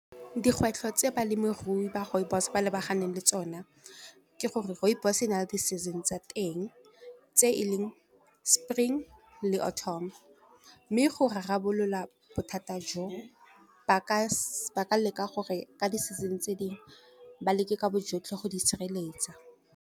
Dikgwetlho tse balemirui ba rooibos ba lebaganeng le tsone ke gore rooibos-e na le di session tsa teng tse e leng Spring le Automn mme go rarabolola bothata jo ba ka leka gore ka di session tse dingwe ba leke ka bojotlhe go di sireletsa.